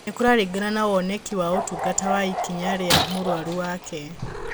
Nĩ kũraringana na woneki wa ũtungata na ikinya rĩa mũrwaru wake